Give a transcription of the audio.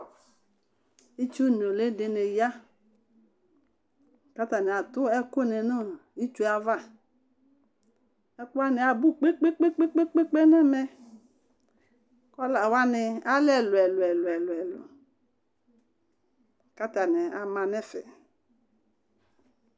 itsu nũli dini ya k'atani atũ ɛkũni nɔ itsue ava ɛkuani abũ kpekpekpé nɛmɛ kɔla wani alɛ elũ ɛlũ elũ katani ama nɛfɛ